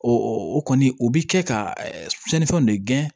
o kɔni o bɛ kɛ ka cɛnnifɛnw de gɛn